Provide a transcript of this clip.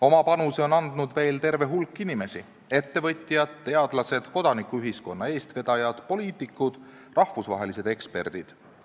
Oma panuse on andnud veel terve hulk inimesi: ettevõtjad, teadlased, kodanikuühiskonna eestvedajad, poliitikud, rahvusvahelised eksperdid.